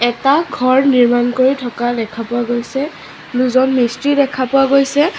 এটা ঘৰ নিৰ্মাণ কৰি থকা দেখা পোৱা গৈছে দুজন মিস্ত্ৰী দেখা পোৱা গৈছে।